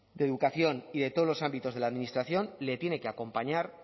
de educación y de todos los ámbitos de la administración le tiene que acompañar